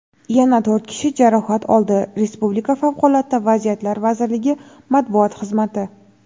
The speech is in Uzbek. yana to‘rt kishi jarohat oldi – respublika Favqulodda vaziyatlar vazirligi matbuot xizmati.